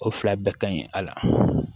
O fila bɛɛ ka ɲi a la